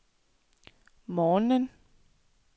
morgenen